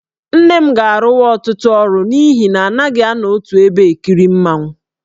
Nne m ga-arụwa ọtụtụ ọrụ n'ihi na anaghị anọ otu ebe e kiri mmanwụ.